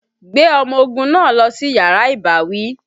Gbé ọmọ ogun náà lọ sí yàrá ìbáwí!